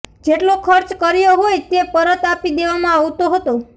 જેટલો ખર્ચ કર્યો હોય તે પરત આપી દેવામાં આવતો હતો